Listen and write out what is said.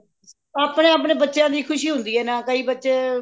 ਆਪਣੇਂ ਆਪਣੇਂ ਬੱਚਿਆਂ ਦੀ ਖੁਸ਼ੀ ਹੁੰਦੀ ਏ ਨਾ ਕਈ ਬੱਚੇ